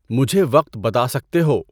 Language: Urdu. مجھے وقت بتا سکتے ہو؟